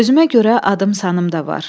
Özümə görə adım-sanım da var.